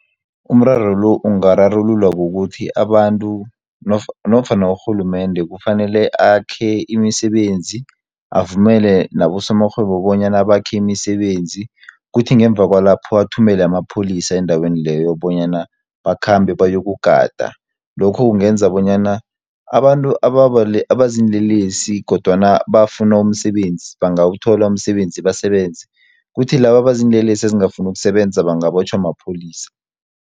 Umraro lo, ungararululwa kukuthi abantu nofana urhulumende kufanele akhe imisebenzi. Avumele nabosomarhwebo bonyana bakhe imisebenzi. Kuthi ngemva kwalapho athumele amapholisa endaweni leyo, bonyana bakhambe bayokugada. Lokho kungenza bonyana abantu abaziinlelesi kodwana bafuna umsebenzi bangawuthola umsebenzi basebenze, kuthi laba abaziinlelesi ezingafuni ukusebenza bangabotjhwa mapholisa.